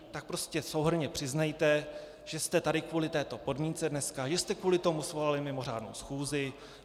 Tak prostě souhrnně přiznejte, že jste tady kvůli této podmínce dneska, že jste kvůli tomu svolali mimořádnou schůzi.